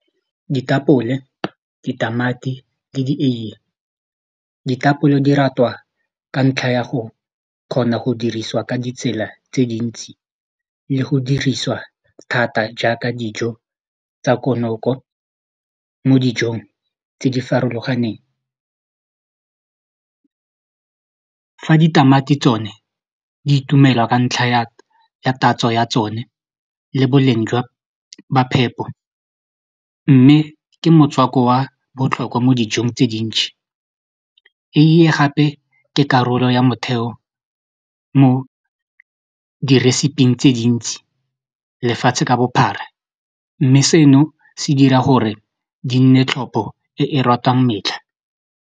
Ditapole ditamati le dieiye, ditapole di ratwa ka ntlha ya go kgona go diriswa ka ditsela tse dintsi le go dirisiwa thata jaaka dijo tsa konoko mo dijong tse di farologaneng fa ditamati tsone di itumelwa ka ntlha ya tatso ya tsone le boleng jwa phepo mme ke motswako wa botlhokwa mo dijong tse dintšhi eiye gape ke karolo ya motheo mo di-recipe-ing tse dintsi lefatshe ka bophara mme seno se dira gore di nne tlhopo e ratwang metlha.